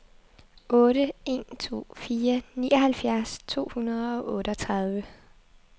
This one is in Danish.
otte en to fire nioghalvfjerds to hundrede og otteogtredive